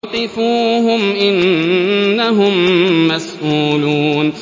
وَقِفُوهُمْ ۖ إِنَّهُم مَّسْئُولُونَ